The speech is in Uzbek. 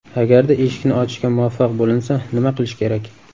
Agarda eshikni ochishga muvaffaq bo‘linsa, nima qilish kerak?